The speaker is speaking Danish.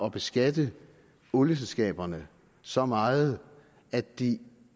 at beskatte olieselskaberne så meget at de